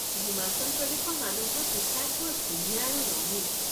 হিমাচল প্ৰদেশৰ মানুহৰ পোচাক বৰ ধুনীয়া আৰু ৰঙীন।